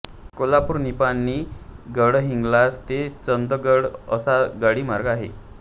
कोल्हापूर निपाणी गडहिंग्लज ते चंदगड असा गाडी मार्ग आहे